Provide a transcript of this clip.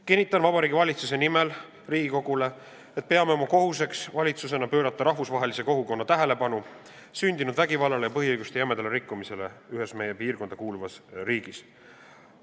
Kinnitan Vabariigi Valitsuse nimel Riigikogule, et peame valitsusena oma kohuseks pöörata rahvusvahelise kogukonna tähelepanu ühes meie piirkonda kuuluvas riigis sündinud vägivallale ja põhiõiguste jämedale rikkumisele.